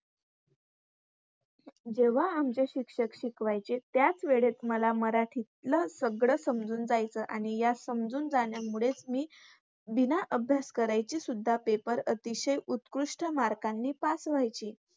जेव्हा आमचे शिक्षक शिकवायचे त्याचवेळेत मला मराठीतलं सगळं समजून जायचं. आणि या समजून जाण्यामुळेच मी बिना अभ्यास करायचीसुद्धा पेपर अतिशय उत्कृष्ट मार्कांनी पास व्हायची.